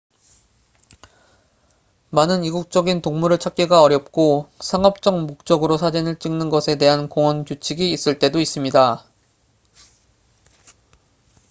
많은 이국적인 동물을 찾기가 어렵고 상업적 목적으로 사진을 찍는 것에 대한 공원 규칙이 있을 때도 있습니다